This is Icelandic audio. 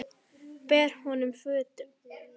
Ber honum fötuna.